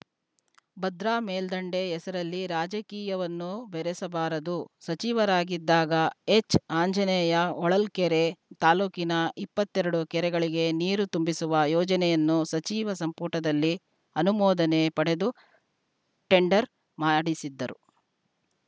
ಭದ್ರಾ ಮೇಲ್ಡಂಡೆ ಹೆಸರಲ್ಲಿ ರಾಜಕೀಯವನ್ನು ಬೆರಸಬಾರದು ಸಚಿವರಾಗಿದ್ದಾಗ ಎಚ್‌ಆಂಜನೇಯ ಹೊಳಲ್ಕೆರೆ ತಾಲೂಕಿನ ಇಪ್ಪತ್ತೇರಡು ಕೆರೆಗಳಿಗೆ ನೀರು ತುಂಬಿಸುವ ಯೋಜನೆಯನ್ನು ಸಚಿವ ಸಂಪುಟದಲ್ಲಿ ಅನುಮೋದನೆ ಪಡೆದು ಟೆಂಡರ್‌ ಮಾಡಿಸಿದ್ದರು